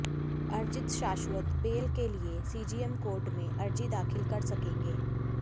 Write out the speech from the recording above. अर्जित शाश्वत बेल के लिए सीजेएम कोर्ट में अर्जी दाखिल कर सकेंगे